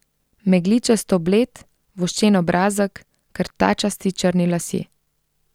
Megličasto bled, voščen obrazek, krtačasti črni lasje.